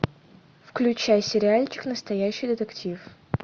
включай сериальчик настоящий детектив